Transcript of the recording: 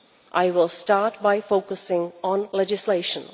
I will start by focusing on legislation.